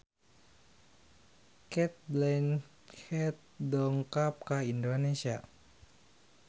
Cate Blanchett dongkap ka Indonesia